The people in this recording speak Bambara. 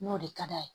N'o de ka d'a ye